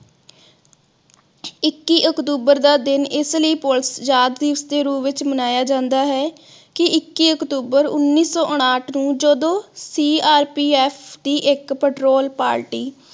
ਇੱਕੀ ਅਕਤੂਬਰ ਦਾ ਦਿਨ ਇਸ ਲਈ police ਯਾਦ ਵੀ ਇਸਦੇ ਰੂਪ ਵਿਚ ਮਨਾਇਆ ਜਾਂਦਾ ਹੈ ਕਿ ਇੱਕੀ ਅਕਤੂਬਰ ਉੱਨੀ ਸੋ ਉਨਾਥ ਨੂੰ ਜਦੋ CRPF ਦੀ ਇਕ patrol party